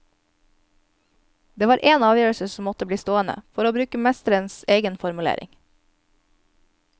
Det var en avgjørelse som måtte bli stående, for å bruke mesterens egen formulering.